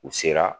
U sera